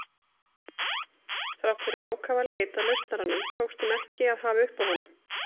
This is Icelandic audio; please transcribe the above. Þrátt fyrir ákafa leit að lausnaranum tókst þeim ekki að hafa uppi á honum.